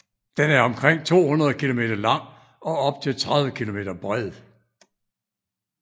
Den er omkring 200 km lang og op til 30 km bred